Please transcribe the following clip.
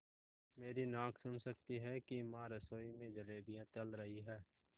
मेरी नाक सुन सकती है कि माँ रसोई में जलेबियाँ तल रही हैं